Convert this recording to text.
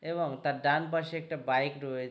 এবং তার ডান পাশে একটা বাইক রয়ে--